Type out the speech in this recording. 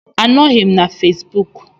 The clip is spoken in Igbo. Anọghị m na Fesbuk